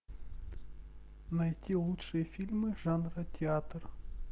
найти лучшие фильмы жанра театр